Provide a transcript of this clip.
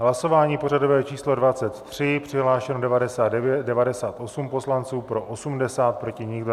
Hlasování pořadové číslo 23, přihlášeno 98 poslanců, pro 80, proti nikdo.